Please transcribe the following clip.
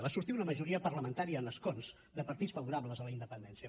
va sortir una majoria parlamentària en escons de partits favorables a la independència